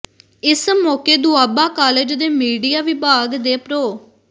ਇਸ ਮੌਕੇ ਦੋਆਬਾ ਕਾਲਜ ਦੇ ਮੀਡੀਆ ਵਿਭਾਗ ਦੇ ਪ੍ਰੋ